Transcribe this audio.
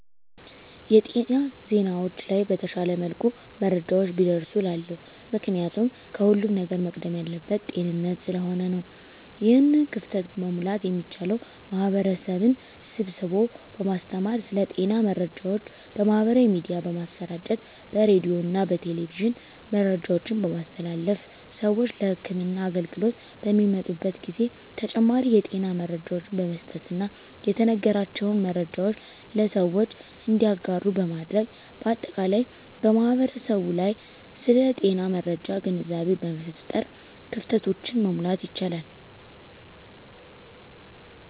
የጤና ዜናዎች ላይ በተሻለ መልኩ መረጃዎች ቢደርሱ እላለሁ። ምክንያቱም ከሁለም ነገር መቅደም ያለበት ጤንነት ስለሆነ ነው። ይህን ክፍተት መሙላት የሚቻለው ማህበረሰብን ስብስቦ በማስተማር ስለ ጤና መረጃዎች በማህበራዊ ሚዲያ በማሰራጨት በሬዲዮና በቴሌቪዥን መረጃዎችን በማስተላለፍ ስዎች ለህክምና አገልግሎት በሚመጡበት ጊዜ ተጨማሪ የጤና መረጃዎችን በመስጠትና የተነገራቸውን መረጃዎች ለሰዎች እንዲያጋሩ በማድረግ በአጠቃላይ በማህበረሰቡ ላይ ስለ ጤና መረጃ ግንዛቤ በመፍጠር ክፍተቶችን መሙላት ይቻላል።